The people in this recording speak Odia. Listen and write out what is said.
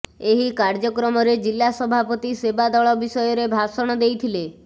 ଏହି କାର୍ଯ୍ୟକ୍ରମରେ ଜିଲ୍ଲା ସଭାପତି ସେବା ଦଳ ବିଷୟରେ ଭାଷଣ ଦେଇଥିଲେ